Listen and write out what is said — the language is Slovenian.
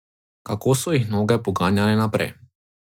Kako so jih noge poganjale naprej.